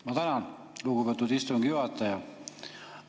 Ma tänan, lugupeetud istungi juhataja!